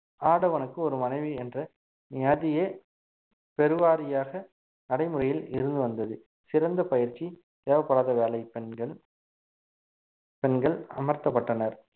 ஆடவனுக்கு ஒரு மனைவி என்று நியதியே பெருவாரியாக நடைமுறையில் இருந்து வந்தது சிறந்த பயிற்சி தேவைப்படாத வேலை பெண்கள் பெண்கள் அமர்த்தப்பட்டனர்